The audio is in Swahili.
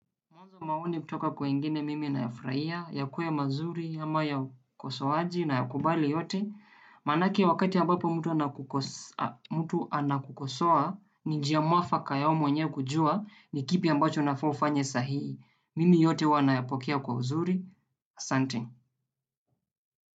Mwanzo maoni kutoka kwingine mimi nayafurahia, yakuwe mazuri, ama ya ukosoaji nayakubali yote. Manake wakati ambapo mtu anakukosea mtu anakukosoa, ni njia mwafaka ya wewe mwenyewe kujua ni kipi ambacho unafaa ufanye sahihi. Mimi yote huwa nayapokea kwa uzuri. Asante.